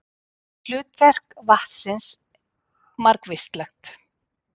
Hlutverk vatnsins margvíslegt.